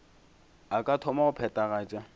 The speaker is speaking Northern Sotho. a ka thoma go phethagatša